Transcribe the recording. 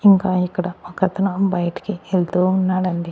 ఇంకా ఇక్కడ ఒకతను బయటి యెల్తు ఉన్నాడండి.